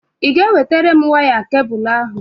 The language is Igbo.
Ị ga-ewetara m waya kebụlụ ahụ?